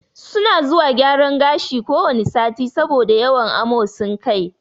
Su na zuwa gyaran gashi ko wane sati, sabo da yawan amosin kai